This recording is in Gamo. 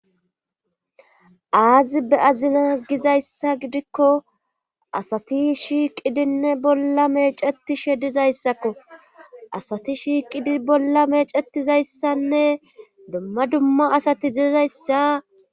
aazi be azina gizayssa gidikko asati shiiqidinne bolla meecetishe dizayssakko asati shiiqidi bolla meecetizayssanne dumma dumma asati dizayssa